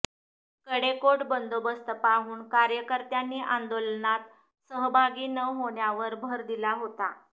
कडेकोट बंदोबस्त पाहून कार्यकर्त्यांनी आंदोलनात सहभागी न होण्यावर भर दिला होता